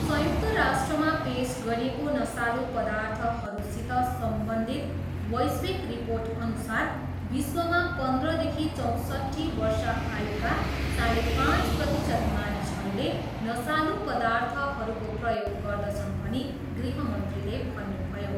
संयुक्त राष्ट्रमा पेस गरिएको नसालु पर्दाथहरूसित सम्बन्धित वैश्विक रिर्पोटअनुसार विश्वमा पन्ध्रदेखि चौँसट्ठी वर्ष आयुका साढे पाँच प्रतिशत मानिसहरूले नसालु पदर्थहरूको प्रयोग गर्दछन् भनी गृहमन्त्रीले भन्नुभयो। ।